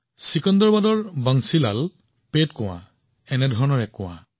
চেকেন্দ্ৰাবাদৰ Bansilalpet কুঁৱা এনেকুৱাই এটা কুঁৱা